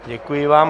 Děkuji vám.